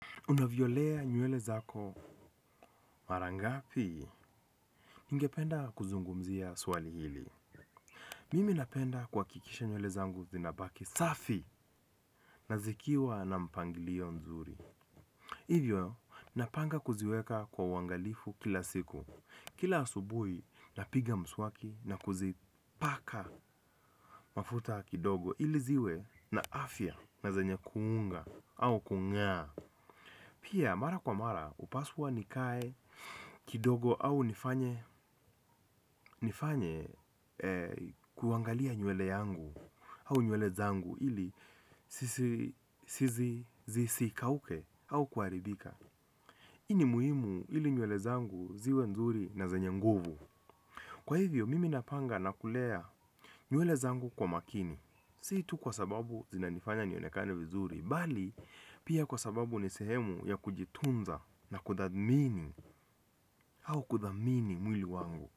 Unavyolea nywele zako marangapi, ningependa kuzungumzia swali hili. Mimi napenda kuhakikisha nywele zangu zinabaki safi na zikiwa na mpangilio mzuri. Hivyo, napanga kuziweka kwa uangalifu kila siku. Kila asubuhi, napiga mswaki na kuzipaka mafuta kidogo ili ziwe na afya na zenya kuunga au kungaa. Pia mara kwa mara hupaswa nikae kidogo au nifanye kuangali nywele yangu au nywele zangu ili zisikauke au kuharibika hii ni muhimu ili nywele zangu ziwe nzuri na zenye nguvu. Kwa hivyo mimi napanga na kulea nywele zangu kwa makini. Si tu kwa sababu zinanifanya nionekane vizuri bali pia kwa sababu ni sehemu ya kujitunza na kuthadmini au kuthamini mwili wangu.